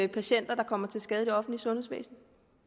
patienter der kommer til skade i det offentlige sundhedsvæsen